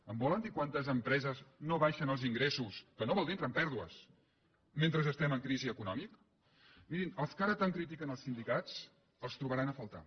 em volen dir en quantes empreses no baixen els ingressos que no vol dir entrar en pèrdues mentre estem en crisi econòmica mirin els que ara tant critiquen els sindicats els trobaran a faltar